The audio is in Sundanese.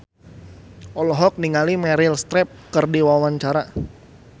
Vincent Ryan Rompies olohok ningali Meryl Streep keur diwawancara